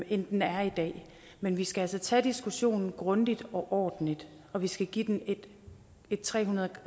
end den er i dag men vi skal altså tage diskussionen grundigt og ordentligt og vi skal give den et tre hundrede